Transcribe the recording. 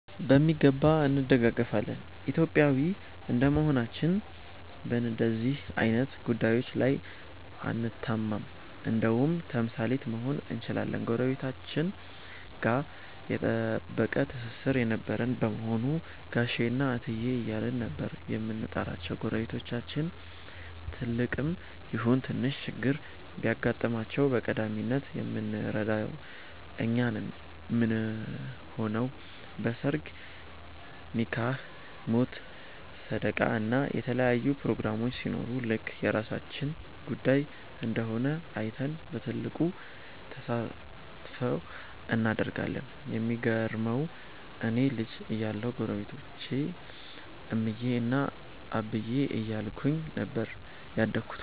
በሚገባ እንደጋገፋለን። ኢትዮጵያዊ እንደመሆናችን በንደዚህ አይነት ጉዳዬች ላይ አንታማም እንደውም ተምሳሌት መሆን እንችላለን። ጎረቤቶቻችን ጋ የጠበቀ ትስስር የነበረን በመሆኑ ጋሼ እና እትዬ እያልን ነበር የምንጠራቸው። ጎረቤቶቻችን ትልቅም ይሁን ትንሽ ችግር ቢገጥማቸው በቀዳሚነት የምንረዳው እኛ ነን ምንሆነው። በ ሰርግ፣ ኒካህ፣ ሞት፣ ሰደቃ እና የተለያዩ ፕሮግራሞች ሲኖር ልክ የራሳችን ጉዳይ እንደሆነ አይተን በትልቁ ተሳትፎ እናደርጋለን። የሚገርመው እኔ ልጅ እያለሁ ጎረቤቶቼን እምዬ እና አብዬ እያልኩኝ ነበር ያደግኩት።